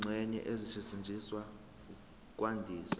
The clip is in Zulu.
izingxenye ezisetshenziswa ukwandisa